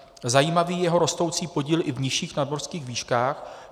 Zajímavý je jeho rostoucí podíl i v nižších nadmořských výškách.